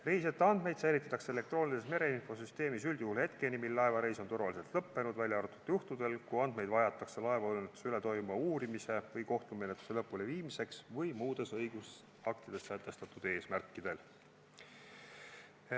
Reisijate andmeid säilitatakse elektroonilises mereinfosüsteemis üldjuhul hetkeni, mil laevareis on turvaliselt lõppenud, välja arvatud juhtudel, kui andmeid vajatakse laevaõnnetuse üle toimuva uurimise või kohtumenetluse lõpuleviimiseks või muudes õigusaktides sätestatud eesmärkidel.